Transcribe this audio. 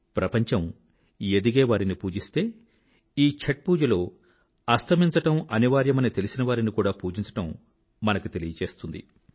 ప్రపంచం ఎదిగే వారిని పూజిస్తే ఈ చాత్ పూజలో అస్తమించడం అనివార్యమని తెలిసినవారిని కూడా పుజించడం ఛాత్ పూజ మనకి తెలుపుతుంది